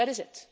future. That